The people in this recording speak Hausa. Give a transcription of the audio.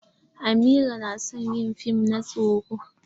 Amira na son yi fim na tsoron.